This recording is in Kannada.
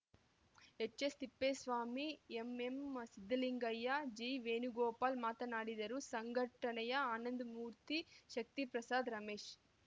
ಎಚ್‌ಎಸ್‌ತಿಪ್ಪೇಸ್ವಾಮಿ ಎಂಎಂಸಿದ್ದಲಿಂಗಯ್ಯ ಜಿವೇಣುಗೋಪಾಲ ಮಾತನಾಡಿದರು ಸಂಘಟನೆಯ ಆನಂದಮೂರ್ತಿ ಶಕ್ತಿ ಪ್ರಸಾದ ರಮೇಶ